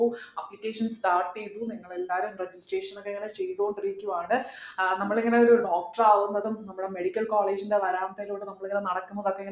applications start ചെയ്തു നിങ്ങളെല്ലാരും registration ക്കെ ഇങ്ങനെ ചെയ്തോണ്ടിരിക്കുവാണ് ആഹ് നമ്മളിങ്ങനെ ഒരു doctor ആവുന്നതും നമ്മള് medical college ൻ്റെ വരാന്തയിലൂടെ നമ്മളിങ്ങനെ നടക്കുന്നതും അതിങ്ങനെ